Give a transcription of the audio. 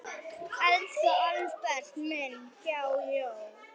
Elsku Albert minn, há joð.